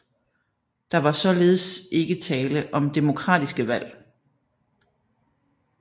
Der var således ikke tale om demokratiske valg